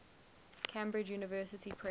cambridge university press